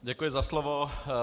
Děkuji za slovo.